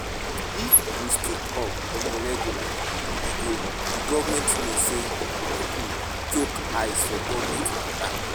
If we speak up on a regular e go di government know sey pipo chook eye for government matter